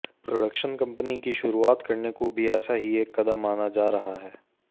production company की शुरुआत करने को भी ऐसा ही एक कदम माना जा रहा है